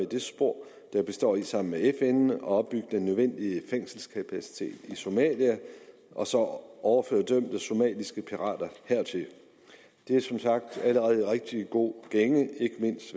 det spor der består i sammen med fn at opbygge den nødvendige fængselskapacitet i somalia og så overføre dømte somaliske pirater hertil det er som sagt allerede i rigtig god gænge ikke mindst